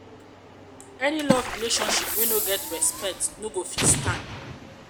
any love relationship wey no get respect no go fit stand. fit stand.